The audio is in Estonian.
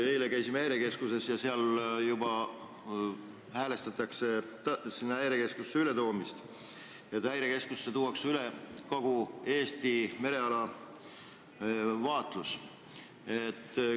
Eile käisime Häirekeskuses, kus juba häälestutakse ületoomisele, sellele, et Häirekeskusesse tuuakse üle kogu Eesti mereala vaatlus.